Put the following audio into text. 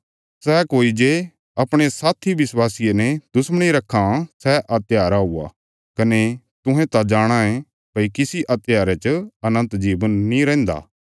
सै कोई जे अपणे साथी विश्वासिये ने दुश्मणी रखां सै हत्यारा हुया कने तुहें त जाणाँ ये भई किसी हत्यारे च अनन्त जीवन नीं रैहन्दा